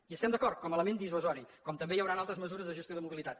hi estem d’acord com a element dissuasiu com també hi hauran altres mesures de gestió de mobilitat